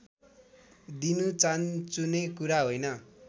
दिनु चानचुने कुरा होइन